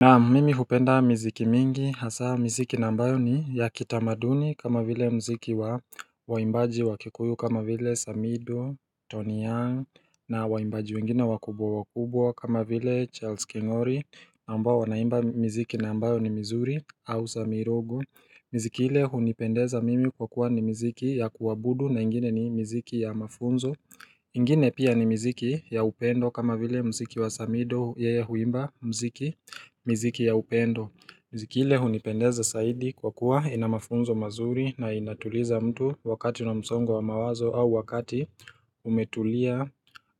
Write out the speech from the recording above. Naam mimi hupenda mziki mingi hasa mziki nambayo ni ya kitamaduni kama vile mziki wa waimbaji wa kikuyu kama vile Samido, Tony Young na waimbaji wengine wakubwa wakubwa kama vile Charles Kingory ambao wanaimba mziki nambayo ni mizuri au Samirogo Mziki hile hunipendeza mimi kwa kuwa ni mziki ya kuwabudu na ingine ni mziki ya mafunzo ingine pia ni mziki ya upendo kama vile mziki wa samido yeye huimba mziki mziki ya upendo Mziki ile hunipendeza saidi kwa kuwa inamafunzo mazuri na inatuliza mtu wakati na msongo wa mawazo au wakati umetulia